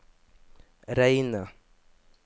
reine